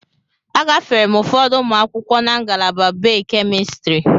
Agafere m ụfọdụ ụmụ akwụkwọ na ngalaba Bay-Kemistri.